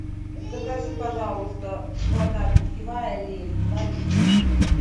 закажи пожалуйста вода питьевая лель два литра